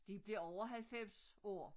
De blev over 90 år